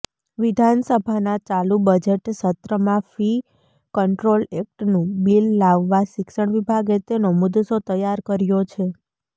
વિધાનસભાના ચાલુ બજેટસત્રમાં ફી કંટ્રોલ એક્ટનુ બિલ લાવવા શિક્ષણ વિભાગે તેનો મુસદ્દો તૈયાર કર્યો છે